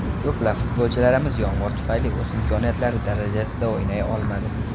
Ko‘plab futbolchilarimiz yomg‘ir tufayli o‘z imkoniyatlari darajasida o‘ynay olmadi.